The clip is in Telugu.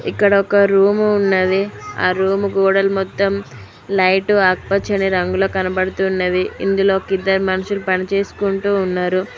ఇక్కడ ఒక రూము ఉన్నది ఆ రూమ్ గోడలు మొత్తం లైటు ఆకుపచ్చని రంగులో కనబడుతున్నవి ఇందులో ఒకిద్దరు మనుషులు పనిచేసుకుంటూ ఉన్నరు.